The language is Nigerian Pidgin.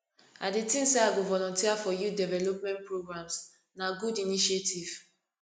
i dey think say i go volunteer for youth development programs na good initiative